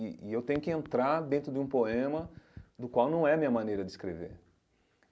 E eu tenho que entrar dentro de um poema do qual não é a minha maneira de escrever.